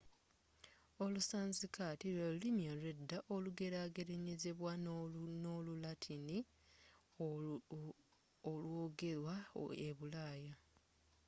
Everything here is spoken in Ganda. olusansikaati lwelulimi olwedda olugerageranyizibwa no'lu latini olwogerwa ebulaaya